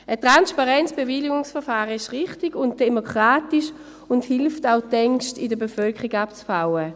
Ein transparentes Bewilligungsverfahren ist richtig und demokratisch und hilft auch, die Ängste in der Bevölkerung abzubauen.